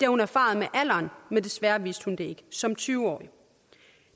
hun erfaret med alderen men desværre vidste hun det ikke som tyve årig